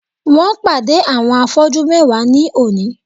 Wón pàdé àwọn afọ́jú mewa ní òní